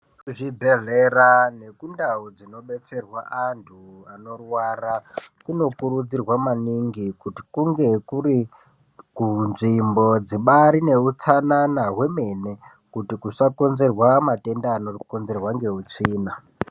Kuzvibhedhlera nekundau dzinodetserwa antu anorwara kunokurudzirwa maningi kuti kunge munzvimbo dzibaari nehutsanana hwemene kuti kusaita matenda anokonzerwa ngeutsvina.